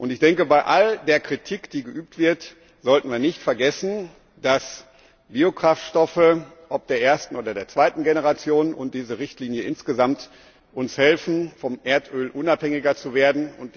Ich denke, bei all der Kritik, die geübt wird, sollten wir nicht vergessen, dass Biokraftstoffe ob der ersten oder der zweiten Generation und diese Richtlinie insgesamt uns helfen, vom Erdöl unabhängiger zu werden.